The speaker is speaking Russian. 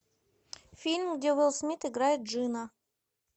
фильм где уилл смит играет джина